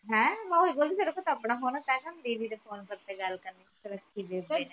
ਹੈਂ ਮੈ ਓਹੀ ਬੋਲੀ ਤੇਰੇ ਕੋ ਤਾ ਆਪਣਾ ਫੋਨ ਹੈ ਤੈਅ ਕਿਊ ਦੀਦੀ ਦੇ ਫੋਨ ਦੇ ਉੱਥੇ ਗੱਲ ਕਰਦੀ